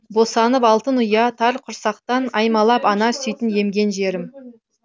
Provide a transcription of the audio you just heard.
босанып алтын ұя тар құрсақтан аймалап ана сүтін емген жерім